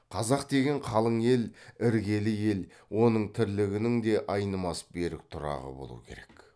қазақ деген қалың ел іргелі ел оның тірлігінің де айнымас берік тұрағы болу керек